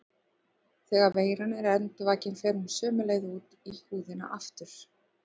Þegar veiran er endurvakin fer hún sömu leið út í húðina aftur.